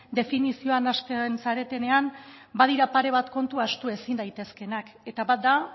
definizioan nahasten zaretenean badira pare bat kontu ahaztu ezin daitezkenak eta bat da